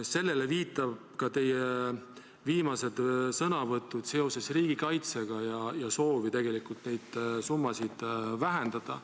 Sellele viitavad ka teie viimased sõnavõtud riigikaitse teemal, teie soov tegelikult neid summasid vähendada.